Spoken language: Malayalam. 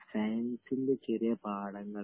സയൻസിന്റെ ചെറിയ പാഠങ്ങൾ..